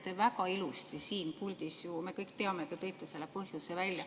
Te väga ilusti siin puldis ju, me kõik teame, tõite selle põhjuse välja.